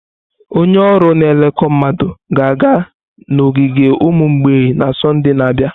Onye ọrụ na-elekọta mmadụ ga-aga n'ogige ụmụ mgbei na Sọnde na-abịa.